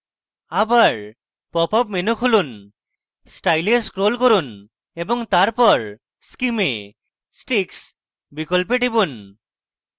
আবার popup menu খুলুন style এ scroll করুন এবং তারপর scheme এ sticks বিকল্পে টিপুন